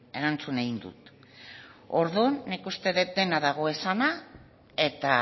erantzun egin dut orduan nik uste dut dena dagoela esanda eta